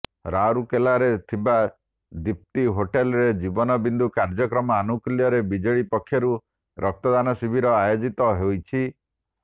ରାଉରକେଲାରେ ଥିବା ଦିପ୍ତି ହୋଟେଲରେ ଜୀବନ ବିନ୍ଦୁ କାର୍ଯ୍ୟକ୍ରମ ଆନୁକୂଲ୍ୟରେ ବିଜେଡ଼ି ପକ୍ଷରୁ ରକ୍ତଦାନ ଶିବିର ଆୟୋଜିତ ହୋଇଛି